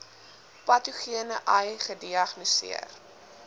patogene ai gediagnoseer